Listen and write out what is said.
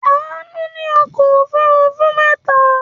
Àánú ní ọkọ̀-òfurufú mẹ́ta.